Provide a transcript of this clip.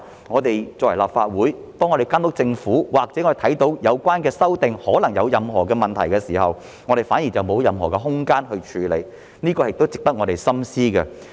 我們作為立法會議員監督政府，當看到有關的修訂可能有任何問題的時候，卻沒有任何空間處理，這亦是值得我們深思的。